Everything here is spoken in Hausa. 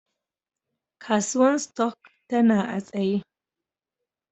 Kasuwan stock tana a'tsaye.